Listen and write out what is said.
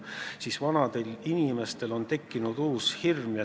Nüüd on vanadel inimestel tekkinud uus hirm.